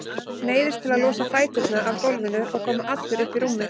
Neyðist til að losa fæturna af gólfinu og koma allur upp í rúmið.